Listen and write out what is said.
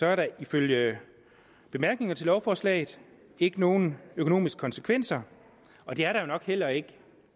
er der ifølge bemærkningerne til lovforslaget ikke nogen økonomiske konsekvenser og det er der jo nok heller ikke